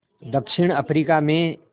दक्षिण अफ्रीका में